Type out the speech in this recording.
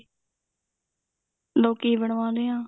ਲੋਕ ਕੀ ਬਣਵਾਉਨੇ ਆ